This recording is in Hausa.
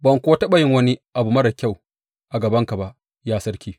Ban kuwa taɓa yin wani abu marar kyau a gabanka ba, ya sarki.